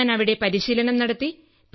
പിന്നെ ഞാൻ അവിടെ പരിശീലനം നടത്തി